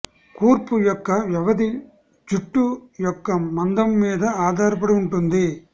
కూర్పు యొక్క వ్యవధి జుట్టు యొక్క మందం మీద ఆధారపడి ఉంటుంది